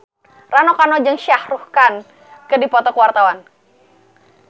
Rano Karno jeung Shah Rukh Khan keur dipoto ku wartawan